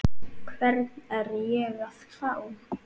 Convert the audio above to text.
Hvern er ég að fá?